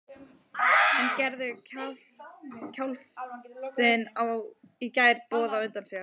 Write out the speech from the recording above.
En gerði skjálftinn í gær boð á undan sér?